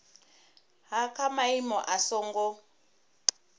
ha kha maimo a songo